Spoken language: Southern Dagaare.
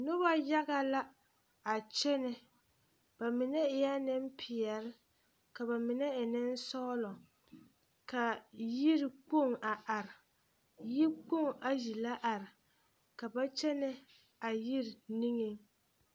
Noba haga la a kyɛnɛ ba mine eɛ nempeɛle ka ba mine e nensɔglɔ ka yirikpoŋ a are yikpoŋ ayi la are ka ba kyɛnɛ a yiri niŋeŋ.